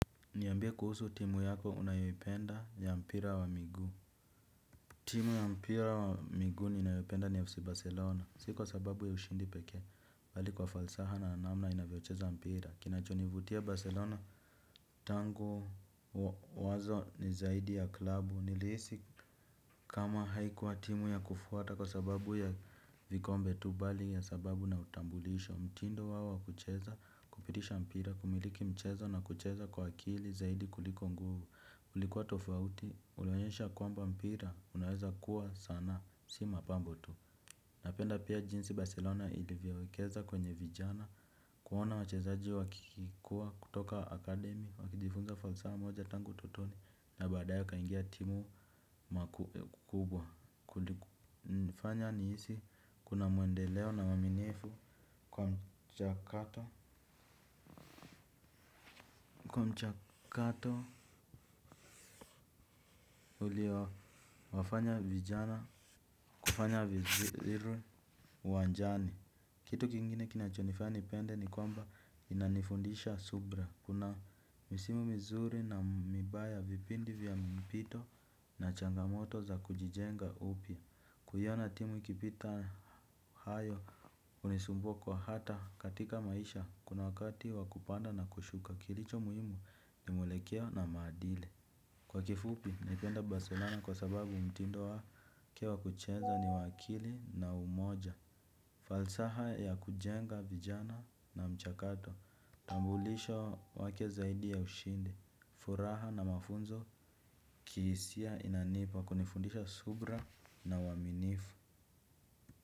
Niambie kuhusu timu yako unayoipenda ya mpira wa miguu. Timu ya mpira wa miguu ninayopenda ni FC Barcelona. Si kwa sababu ya ushindi pekee bali kwa falsafa na namna inavyocheza mpira. Kinacho nivutia Barcelona tangu wazo ni zaidi ya klabu. Nilihisi kama haikuwa timu ya kufuata kwa sababu ya vikombe tu bali ya sababu na utambulisho. Mtindo wao kucheza, kupitisha mpira, kumiliki mchezo na kucheza kwa akili zaidi kuliko nguvu. Ilikuwa tofauti, unaonyesha kwamba mpira, unaweza kuwa sanaa, si mapambo tu. Napenda pia jinsi Barcelona ilivyowekeza kwenye vijana, kuona wachezaji wakikua kutoka akademi, wakijifunza falsafa moja tangu utotoni, na baadaye wakaingia timu makubwa. Kulifanya nihisi kuna mwendeleo na uaminifu kwa mchakato ulio wafanya vijana kufanya vizuri uwanjani. Kitu kingine kinachonifanya nipende ni kwamba inanifundisha subira. Kuna misimu mzuri na mibaya vipindi vya mapito na changamoto za kujijenga upya. Kuiona timu ikipita hayo unisumbukwa hata katika maisha kuna wakati wakupanda na kushuka kilicho muhimu ni mwelekeo na maadili. Kwa kifupi, naipenda Barcelona kwa sababu mtindo wake wa kucheza ni wa akili na umoja. Falsaha ya kujenga vijana na mchakato, tambulisho wake zaidi ya ushindi, furaha na mafunzo kihisia inanipa kunifundisha subira na uaminifu.